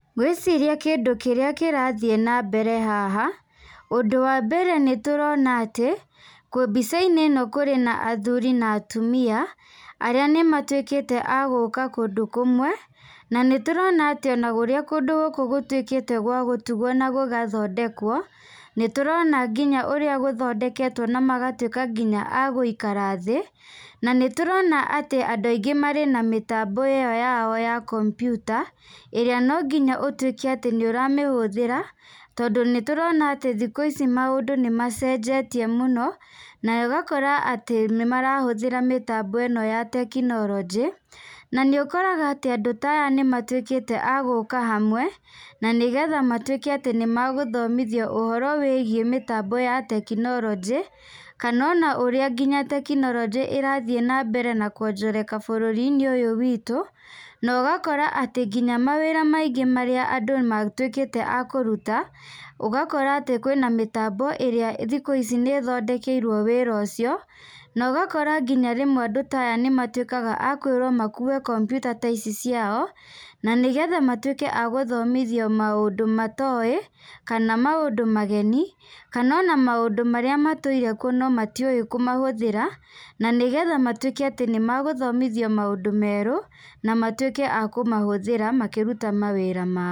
Ngwĩciria kĩndũ kĩrĩa kĩrathiĩ na mbere haha, ũndũ wa mbere nĩ tũrona atĩ mbica-inĩ ĩno kũrĩ na athuri na atumia arĩa nĩ matuĩkĩte a gũka kũndũ kũmwe. Na nĩ tũrona atĩ ona ũrĩa kũndũ gũkũ gũtuĩkĩte gwa gũtugwo na gũgathondekwo. Nĩ tũrona nginya ũrĩa gũthondeketwo na magatuĩka nginya a gũikara thĩ. Na nĩ tũrona atĩ andũ aingĩ marĩ na mĩtambo ĩyo yao ya kompiuta ĩrĩa no nginya ũtuĩke atĩ nĩ ũramĩhũthĩra, tondũ nĩ tũrona atĩ thikũ ici maũndũ nĩ macenjetie mũno. Na ũgakora atĩ nĩ marahũthĩra mĩtambo ĩno ya tekinoronjĩ. Na nĩ ũkoraga atĩ andũ ta aya nĩ matuĩkĩte a gũka hamwe na nĩgetha matuĩke atĩ nĩ magũthomithio ũhoro wĩgiĩ mĩtambo ya tekinoronjĩ, kana ona ũrĩa nginya tekinoronjĩ ĩrathiĩ na mbere na kwonjoreka bũrũri-inĩ witũ. Na ũgakora atĩ nginya mawĩra maingĩ arĩa andũ matuĩkĩte a kũruta, ũgakora atĩ kwĩna mĩtambo ĩrĩa thikũ ici nĩ ĩthondekeirwo wĩra ũcio. Na ũgakora nginya rĩmwe andũ ta aya nĩ matuĩkaga a kwĩrwo makue kompiuta ta ici ciao. Na nĩgetha matuĩke a gũthomithio maũndũ matowĩ kana maũndũ mageni, kana ona maũndũ marĩa matũire kuo no matiũwĩ kũmahũthĩra. Na nĩgetha matuĩke atĩ nĩ magũthomithio maũndũ merũ na matuĩke a kũmahũthĩra makĩruta mawĩra mao.